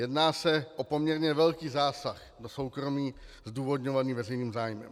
Jedná se o poměrně velký zásah do soukromí zdůvodňovaný veřejným zájmem.